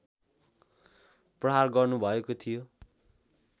प्रहार गर्नुभएको थियो